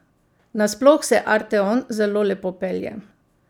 Nasploh se arteon zelo lepo pelje.